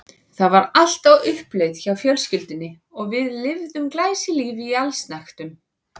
Það var allt á uppleið hjá fjölskyldunni og við lifðum glæsilífi í allsnægtum.